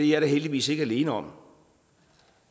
jeg da heldigvis ikke alene om